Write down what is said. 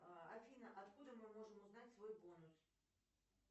афина откуда мы можем узнать свой бонус